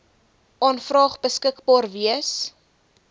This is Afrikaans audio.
aanvraag beskikbaar wees